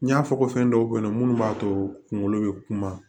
N y'a fɔ ko fɛn dɔw be yen nɔ munnu b'a to kunkolo be kuma